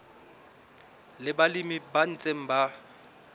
le balemi ba ntseng ba